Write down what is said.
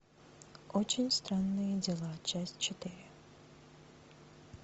очень странные дела часть четыре